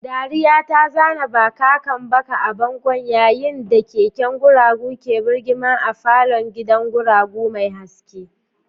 Dariya ta zana bakakan baka a bango yayin da keken guragu ke birgima a falon gidan gurgu mai haske.